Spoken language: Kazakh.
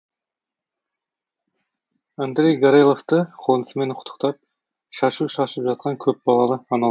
андрей гореловты қонысымен құттықтап шашу шашып жатқан көп балалы ана